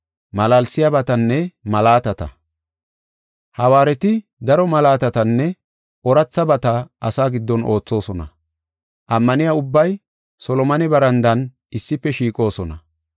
Hawaareti daro malaatatanne oorathabata asaa giddon oothosona. Ammaniya ubbay Solomone barandan issife shiiqoosona.